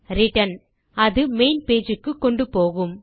return அது main page க்கு கொண்டு போகும்